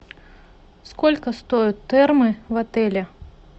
сколько стоят термы в отеле